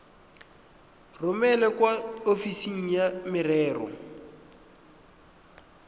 romele kwa ofising ya merero